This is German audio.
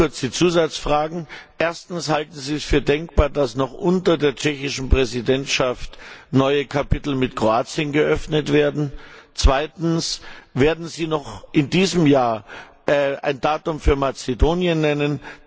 Drei ganz kurze Zusatzfragen Erstens Halten Sie es für denkbar, dass noch unter der tschechischen Präsidentschaft neue Kapitel mit Kroatien eröffnet werden? Zweitens Werden Sie noch in diesem Jahr ein Datum für Mazedonien nennen?